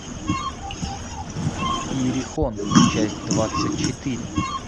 иерихон часть двадцать четыре